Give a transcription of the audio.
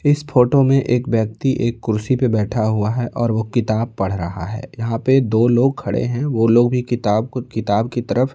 इस फोटो में एक व्यक्ति एक कुर्सी पे बैठा हुआ है और वो किताब पढ़ रहा है यहां पे दो लोग खड़े हैं वो लोग भी किताब को किताब की तरफ --